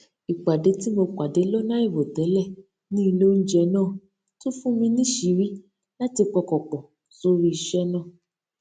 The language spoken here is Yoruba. ìpàdé tí mo pàdé lónà àìròtélè ní ilé oúnjẹ náà tún fún mi níṣìírí láti pọkàn pò sórí iṣé náà